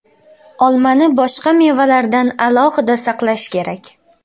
Olmani boshqa mevalardan alohida saqlash kerak.